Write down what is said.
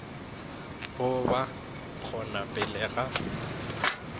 go ba gona pele ga